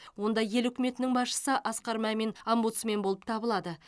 онда ел үкіметінің басшысы асқар мамин омбудсмен болып табылады